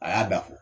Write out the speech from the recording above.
A y'a da fɔ